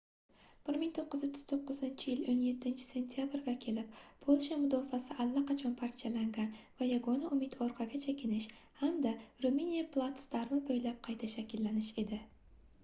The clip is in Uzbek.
1939-yil 17-sentabrga kelib polsha mudofaasi allaqachon parchalangan va yagona umid orqaga chekinish hamda ruminiya platsdarmi boʻylab qayta shakllanish edi